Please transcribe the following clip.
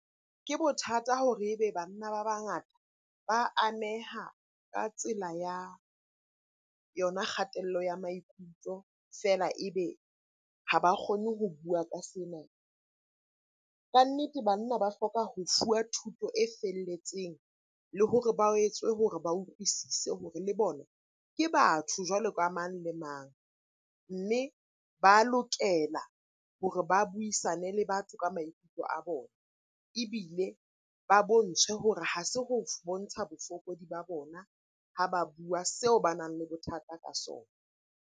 Ke bothata hore e be banna ba bangata ba ameha ka tsela ya yona kgatello ya maikutlo, feela e be ha ba kgone ho bua ka sena. Kannete banna ba hloka ho fuwa thuto e felletseng le hore ba etswe hore ba utlwisise hore le bona ke batho jwalo ka mang le mang. Mme ba lokela hore ba buisane le batho ka maikutlo a bona, ebile ba bontshwe hore ha se ho bontsha bofokodi ba bona ha ba bua seo banang le bothata ka sona.